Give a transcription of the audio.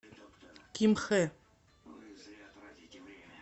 кимхэ